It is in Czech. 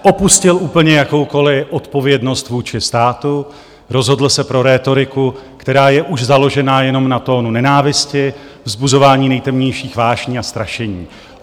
Opustil úplně jakoukoliv odpovědnost vůči státu, rozhodl se pro rétoriku, která je už založena jenom na tónu nenávisti, vzbuzování nejtemnějších vášní a strašení.